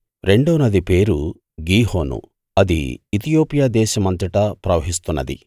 రెండో నది పేరు గీహోను అది ఇతియోపియా దేశమంతటా ప్రవహిస్తున్నది